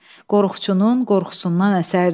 Qorxçunun qorxusundan əsərdik.